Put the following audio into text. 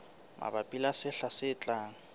mabapi le sehla se tlang